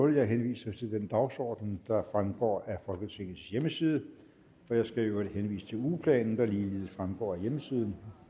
jeg henviser til den dagsorden der fremgår af folketingets hjemmeside jeg skal i øvrigt henvise til ugeplanen der ligeledes fremgår af hjemmesiden